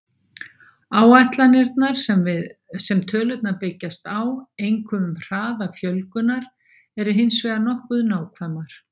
Áætlanirnar sem tölurnar byggjast á, einkum um hraða fjölgunar, eru hins vegar nokkuð nákvæmar.